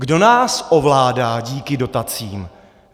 Kdo nás ovládá díky dotacím?